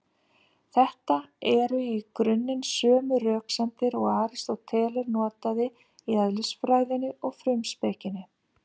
Þetta eru í grunninn sömu röksemdir og Aristóteles notaði í Eðlisfræðinni og Frumspekinni.